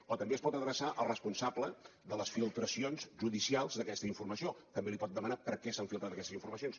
o també es pot adreçar al responsable de les filtracions judicials d’aquesta informació també li pot demanar per què s’han filtrat aquestes informacions